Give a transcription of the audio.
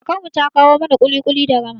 Kakar mu ta kawo mana ƙuli-ƙuli da rama